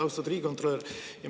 Austatud riigikontrolör!